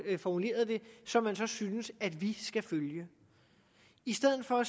formulerede det som man så synes at vi skal følge i stedet for at